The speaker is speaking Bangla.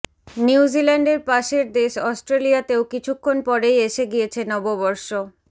নিউজিল্যান্ডের পাশের দেশ অস্ট্রেলিয়াতেও কিছুক্ষণ পরেই এসে গিয়েছে নববর্ষ